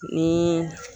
Ni